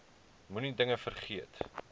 moenie dinge vergeet